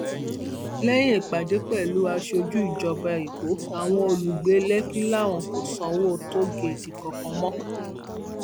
lẹyìn ìpàdé pẹlú aṣojú ìjọba èkó àwọn olùgbé lèkì làwọn kò sanwó tóogèètì kankan mọ o